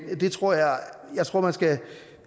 jeg tror man skal